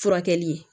Furakɛli